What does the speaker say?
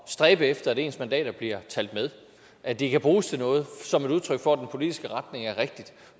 stræbe efter at ens mandater bliver talt med at de kan bruges til noget som et udtryk for at den politiske retning er rigtig